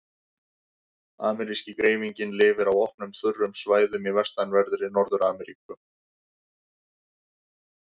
Ameríski greifinginn lifir á opnum, þurrum svæðum í vestanverðri Norður-Ameríku.